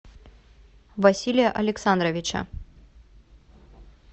василия александровича